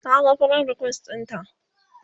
Naga friend request ɗinta